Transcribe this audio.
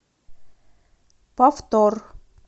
повтор